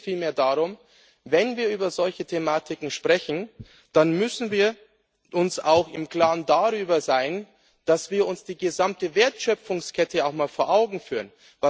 Mir geht es vielmehr darum Wenn wir über solche Thematiken sprechen, dann müssen wir uns auch darüber im Klaren sein, dass wir uns die gesamte Wertschöpfungskette auch mal vor Augen führen.